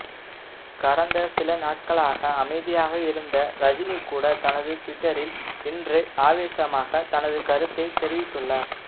கடந்த சில நாட்களாக அமைதியாக இருந்த ரஜினி கூட தனது டுவிட்டரில் இன்று ஆவேசமாக தனது கருத்தை தெரிவித்துள்ளார்